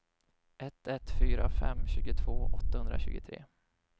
ett ett fyra fem tjugotvå åttahundratjugotre